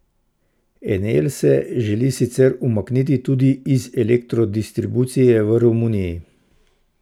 Enel se želi sicer umakniti tudi iz elektrodistribucije v Romuniji.